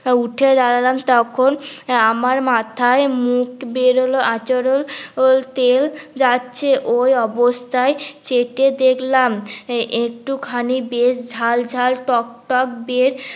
উঠে দাঁড়ালাম তখন আমার মাথায় মুখ বেরান আচরণ তেল যাচ্ছে ওই অবস্থা্য় চেকে দেখলাম একটু খানি বেশ ঝাল ঝাল টক টক বের